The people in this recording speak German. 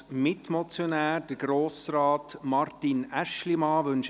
Als Mitmotionär hat Grossrat Martin Aeschlimann das Wort.